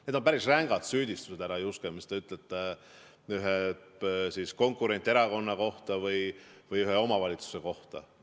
Need on päris rängad süüdistused, härra Juske, mis te ütlesite ühe konkurenterakonna kohta või ühe omavalitsuse kohta.